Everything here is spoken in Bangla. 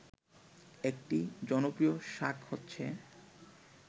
একটি জনপ্রিয় শাক হচ্ছে